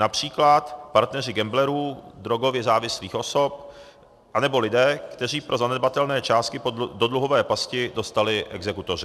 Například partneři gamblerů, drogově závislých osob, anebo lidé, které pro zanedbatelné částky do dluhové pasti dostali exekutoři.